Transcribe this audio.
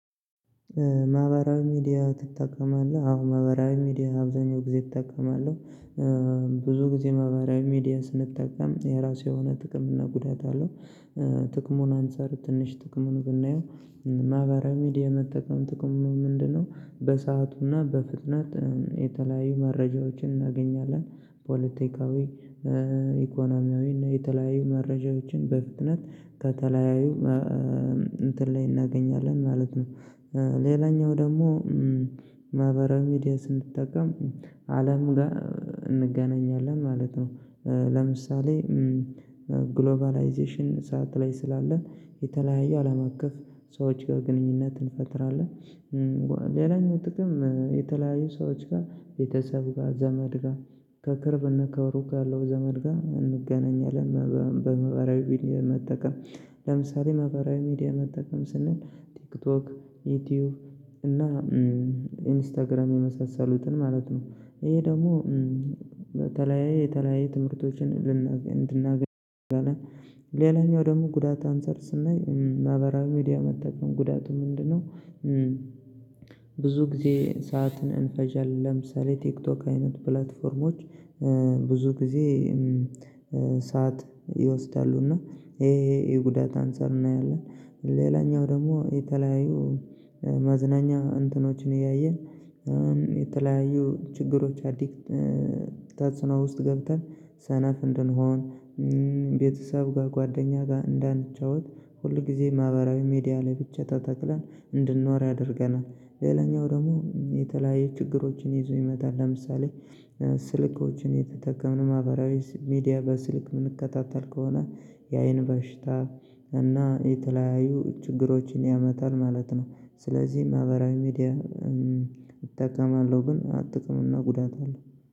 ማህበራዊ ሚዲያ ትጠቀማለህ? አዎ ማህበራዊ ሚዲያ አብዛኛው ጊዜ እጠቀማለሁ ብዙ ጊዜ ማህበራዊ ሚዲያ ስንጠቀም የራሱ የሆነ ጥቅም እና ጉዳት አለው። ጥቅሙን አንፃር ትንሽ ጥቅሙን ብናየው ማህበራዊ ሚዲያ መጠቀም ጥቅሙ ምንድነው? በሰአቱና በፍጥነት የተለያዩ መረጃዎችን እናገኛለን ፖለቲካዊ ኢኮኖሚያዊ እና የተለያዩ መረጃዎችን በፍጥነት ከተለያዩ እንትን ላይ እናገኛለን ማለት ነው። ሌላኛው ደግሞ ማህበራዊ ሚዲያ ስንጠቀም አለም ጋር እንገናኛለን ማለት ነው። ለምሳሌ ግሎባላይዜሽን ሰዓት ላይ ስላለን የተለያየ አለም አቀፍ ሰዎች ጋር ግንኙነት እንፈጥራለን። ሌላኛው ጥቅም የተለያዩ ሰዎች ጋር ቤተሰብ ጋር ዘመድ ጋር ከቅርብና ከሩቅ ካለው ዘመድ ጋር እንገናኛለን በማህበራዊ ሚዲያ መጠቀም። ለምሳሌ ማህበራዊ ሚዲያ መጠቀም ስንል ቲክቶክ ዩቲዩብ እና ኢንስታግራም የመሳሰሉትን ማለት ነው። ይሄ ደግሞ በተለያየ የተለያየ ትምህርቶችን ልናገኝ እንድናገኝ እንችላለን። ሌላኛው ደግሞ ጉዳት አንጳር ስናይ ማህበራዊ ሚዲያ መጠቀም ጉዳቱ ምንድነው? ብዙ ጊዜ ሰዓትን እንፈጀለን ለምሳሌ ቲክቶክ አይነት ፕላትፎርሞች ብዙ ጊዜ ሰዓት ይወስዳሉና ይሄ የጉዳት አንፃር እናያለን። ሌላኛው ደግሞ የተለያዩ መዝናኛ እንትኖችን እያየን የተለያዩ ችግሮች አዲክት ተጽኖ ውስጥ ገብተን ሰነፍ እንድንሆን ቤተሰብ ጋር ጓደኛ ጋር እንዳንጫወት ሁል ጊዜ ማህበራዊ ሚዲያ ላይ ብቻ ተተክለን እንድንኖር ያደርገናል። ሌላኛው ደግሞ የተለያየ ችግሮችን ይዞ ይመጣል። ለምሳሌ ስልኮችን ኤየተጠቀምን ማህበራዊ ሚዲያ በስልክ የምንከታተል ከሆነ የአይን በሽታ እና የተለያዩ ችግሮችን ያመጣል ማለት ነው። ስለዚህ ማህበራዊ ሚዲያ እጠቀማለሁ ግን ጥቅም እና ጉዳት አለው